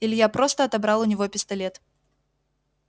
илья просто отобрал у него пистолет